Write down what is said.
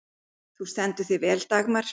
Þú stendur þig vel, Dagmar!